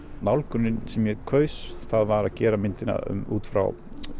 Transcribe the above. nálgunin sem ég kaus það var að gera myndina út frá